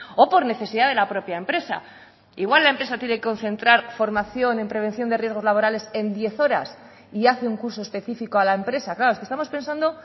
o por necesidad de la propia empresa igual la empresa tiene que concentrar formación en prevención de riesgos laborales en diez horas y hace un curso específico a la empresa claro es que estamos pensando